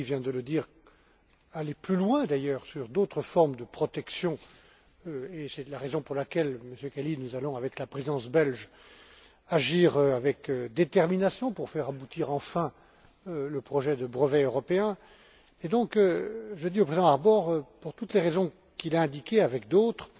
Kelly vient de le dire, aller plus loin d'ailleurs, sur d'autres formes de protection, et c'est la raison pour laquelle, Monsieur Kelly, nous allons, avec la Présidence belge, agir avec détermination pour faire aboutir enfin le projet de brevet européen. Et je dis donc au président Harbour, pour toutes les raisons qu'il a indiquées avec d'autres,